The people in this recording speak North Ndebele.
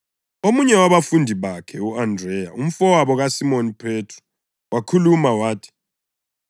Omunye wabafundi bakhe, u-Andreya, umfowabo kaSimoni Phethro wakhuluma wathi,